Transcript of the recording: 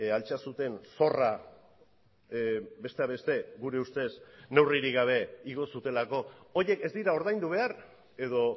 altxa zuten zorra besteak beste gure ustez neurririk gabe igo zutelako horiek ez dira ordaindu behar edo